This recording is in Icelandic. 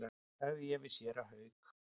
sagði ég við séra Hauk.